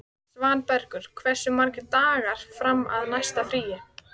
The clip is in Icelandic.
Svanbergur, hversu margir dagar fram að næsta fríi?